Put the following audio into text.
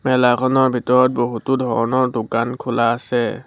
মেলাখনৰ ভিতৰত বহুতো ধৰণৰ দোকান খোলা আছে।